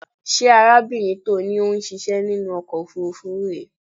Ṣé arábìnrin tó ní ó ń ṣíṣẹ́ nínú ọkọ̀ òfuurufú rè é?